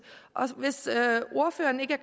og hvis ordføreren ikke